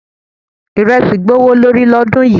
Iresi gbówó lórí lọ́dún yìí.